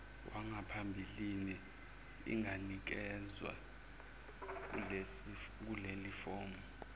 wangaphambilini inganikezwa kulelifomu